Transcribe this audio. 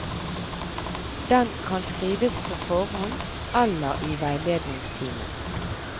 Den kan skrives på forhånd eller i veiledningstimen.